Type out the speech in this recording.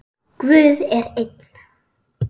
Guð er einn.